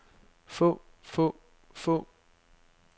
få få få